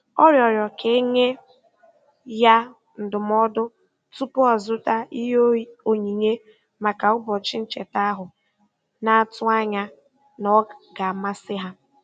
Ọ rịọrọ ka e nye ya ndụmọdụ tupu ọ zụta ihe onyinye maka ụbọchị ncheta ahụ, na-atụ anya na ọ ga-amasị ha.